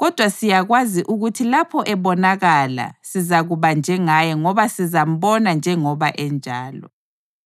Kodwa siyakwazi ukuthi lapho ebonakala sizakuba njengaye ngoba sizambona njengoba enjalo.